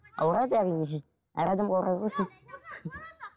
ауырады әрине әр адамда ауырады ғой